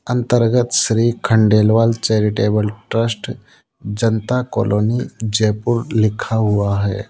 अंतर्गत Shri Khandelwal charitable trust Janta colony Jaipur लिखा हुआ है।